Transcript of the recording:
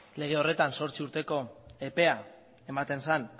lege horretan zortzi urteko epea ematen zen